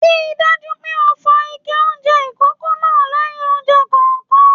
Ríi dájú pé o fọ ike oúnjẹ ikòkò náà lẹyìn oúnjẹ kọọkan!